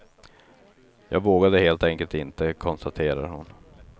Jag vågade helt enkelt inte, konstaterar hon.